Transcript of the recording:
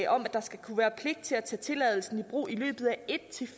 om at der skal være pligt til at tage tilladelsen i brug i løbet af en